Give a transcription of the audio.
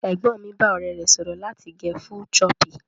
Ẹ̀gbọ́n mi bá ọ̀rẹ́ rẹ̀ sọ̀rọ̀ láti gẹ full choppy.